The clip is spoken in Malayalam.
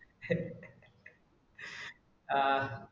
ആഹ്